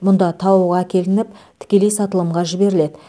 мұнда тауық әкелініп тікелей сатылымға жіберіледі